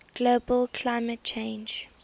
global climate change